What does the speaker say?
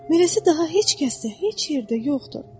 Beləsi daha heç kəsdə heç yerdə yoxdur.